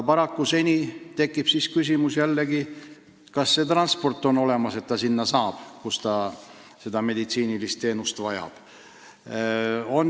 Siis tekib aga jällegi küsimus, kas transport on olemas, et saab viia kliendi sinna, kus ta seda meditsiinilist teenust saab.